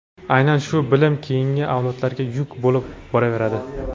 aynan shu bilim keyingi avlodlarga yuk bo‘lib boraveradi.